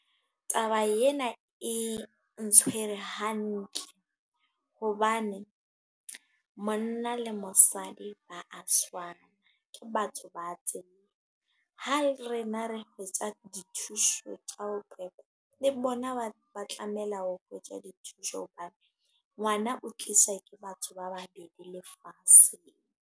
Taba ena e ntshwere hantle. Hobane, monna le mosadi ba a tshwana. Ke batho ba tseo. Ha rena re hwetja dithuso tsa ho qekwa. Le bona ba ba tlameha o gwetja dithuso. Hobane ngwana o tlisa ke batho ba babedi lefatshe.